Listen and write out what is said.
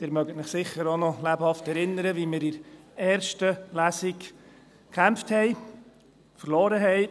Sie erinnern sich sicher noch lebhaft, wie wir in der ersten Lesung gekämpft haben, verloren haben.